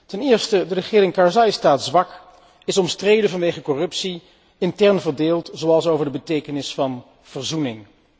Ten eerste staat de regering Karzai zwak, is omstreden vanwege corruptie, intern verdeeld, zoals over de betekenis van verzoening.